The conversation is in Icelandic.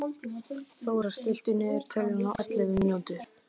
Þórar, stilltu niðurteljara á ellefu mínútur.